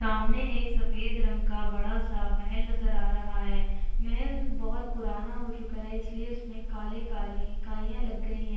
सामने एक सफेद रंग का बड़ा सा महल नजर आ रहा है महल बहोत पुराना हो चुका है इसलिए उसमें काले-काले काइयाँ लग गई हैं।